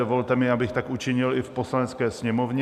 Dovolte mi, abych tak učinil i v Poslanecké sněmovně.